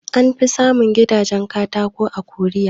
An fi samun gidajen katako a Korea